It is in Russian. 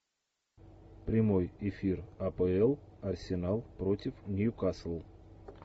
прямой эфир апл арсенал против ньюкасл